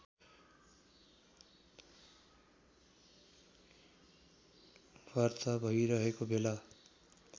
वार्ता भइरहेको बेला